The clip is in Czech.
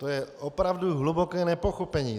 To je opravdu hluboké nepochopení.